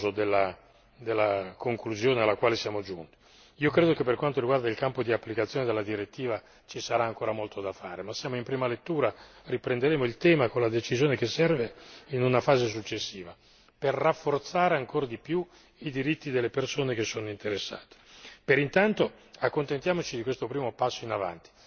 Le confesso che avrei voluto un profilo ancora più ambizioso della conclusione alla quale siamo giunti. Io credo che per quanto riguarda il campo di applicazione della direttiva ci sarà ancora molto da fare, ma siamo in prima lettura riprenderemo il tema con la decisione che serve in una fase successiva per rafforzare ancora di più i diritti delle persone che sono interessate.